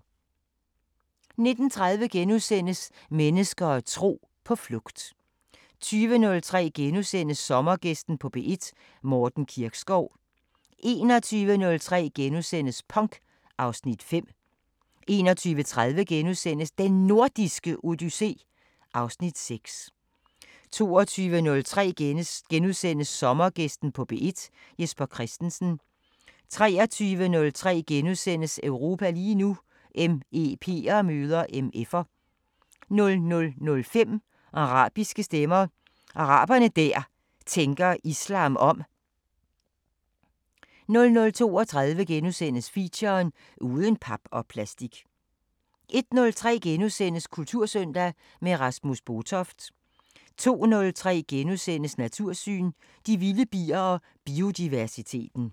19:30: Mennesker og tro: På flugt * 20:03: Sommergæsten på P1: Morten Kirkskov * 21:03: Punk (Afs. 5)* 21:30: Den Nordiske Odyssé (Afs. 6)* 22:03: Sommergæsten på P1: Jesper Christensen * 23:03: Europa lige nu: MEP'er møder MF'er * 00:05: Arabiske Stemmer: Arabere der tænker islam om 00:32: Feature: Uden pap og plastik * 01:03: Kultursøndag – med Rasmus Botoft * 02:03: Natursyn: De vilde bier og biodiversiteten *